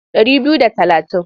Ɗari biyu da talatin.